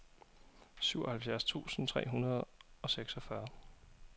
syvoghalvfjerds tusind tre hundrede og seksogfyrre